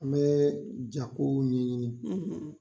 An bɛ jakow ɲɛɲini.